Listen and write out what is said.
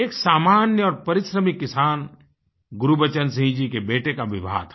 एक सामान्य और परिश्रमी किसान गुरबचन सिंह जी के बेटे का विवाह था